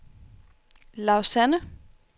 Lausanne